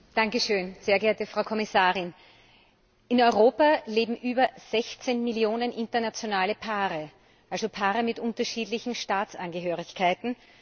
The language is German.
Herr Präsident, sehr geehrte Frau Kommissarin! In Europa leben über 16 Millionen internationale Paare also Paare mit unterschiedlichen Staatsangehörigkeiten.